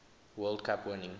world cup winning